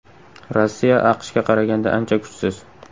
Rossiya AQShga qaraganda ancha kuchsiz.